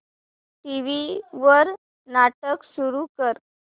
TV वर नाटक सुरू कर